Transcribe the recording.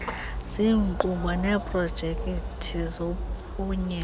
ziinkqubo neeprojekithi zophunyezo